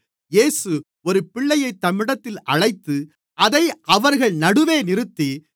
இயேசு ஒரு பிள்ளையைத் தம்மிடத்தில் அழைத்து அதை அவர்கள் நடுவே நிறுத்தி